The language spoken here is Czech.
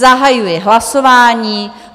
Zahajuji hlasování.